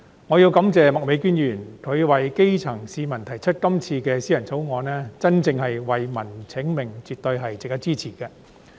我要感謝麥美娟議員，為基層市民提出這項議員法案，真正為民請命，絕對值得支持。